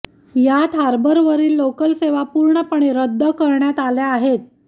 यात हार्बरवरील लोकल सेवा पूर्णपणे रद्द करण्यात आल्या आहेत